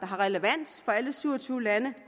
har relevans for alle syv og tyve lande